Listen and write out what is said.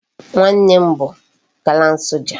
Nwa nna m bu gallant soja